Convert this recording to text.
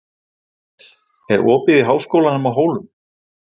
Estel, er opið í Háskólanum á Hólum?